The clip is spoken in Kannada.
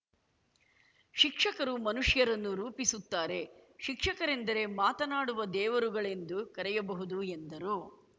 ಶಿಕ್ಷಕರು ಮನುಷ್ಯರನ್ನು ರೂಪಿಸುತ್ತಾರೆ ಶಿಕ್ಷಕರೆಂದರೆ ಮಾತನಾಡುವ ದೇವರುಗಳೆಂದು ಕರೆಯಬಹುದು ಎಂದರು